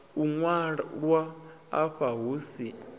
u ṅwalwa afha hu si